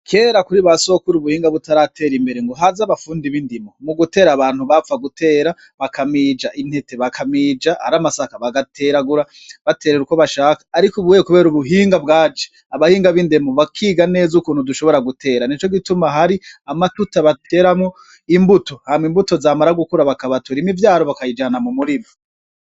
Kera kuri basokuru ubuhinga butaratera imbere ngohaze abafundi b'indimo mugutera abantu bapfa gutera bakamija intete bakamija aramasaka bagateragura baterera uko bashaka ariko ubuhunye kubera ubuhinga bwaje abahinga bindimo bakiga neza ukuntu dushobora gutera nicogituma hari amatuta bateramwo imbuto hama imbuto zamara gukura bakabatura imivyaro bakayijana mu murima.